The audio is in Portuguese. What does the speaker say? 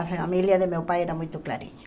A família de meu pai era muito clarinha.